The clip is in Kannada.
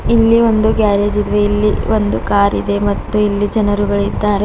ಇಲ್ಲಿ ಒಂದು ಗ್ಯಾರೇಜ್ ಇದ್ವೇ ಇಲ್ಲಿ ಒಂದು ಕಾರ್ ಇದೆ ಮತ್ತು ಇಲ್ಲಿ ಜನರುಗಳು ಇದ್ದಾರೆ.